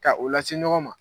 Ka o lase ɲɔgɔn ma.